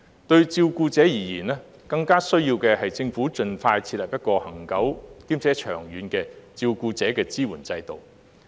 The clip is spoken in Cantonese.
對照顧者而言，更需要的是政府盡快設立一個恆久且長遠的照顧者支援制度。